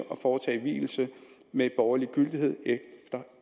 og foretage vielse med borgerlig gyldighed efter